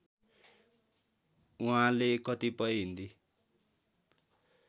उहाँले कतिपय हिन्दी